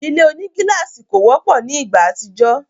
Ile onigílàsì kò wọ́pọ̀ ni ìgbà àtijọ́